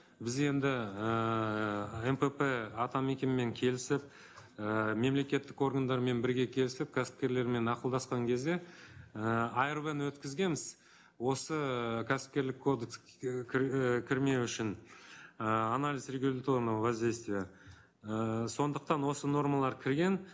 біз енді ііі мпп атамекенмен келісіп ііі мемлекеттік органдармен бірге келісіп кәсіпкерлермен ақылдасқан кезде ііі арв ны өткізенбіз осы кәсіпкерлік кодекс ііі кірмеу үшін ыыы анализ регуляторного воздействия ыыы сондықтан осы нормалар кірген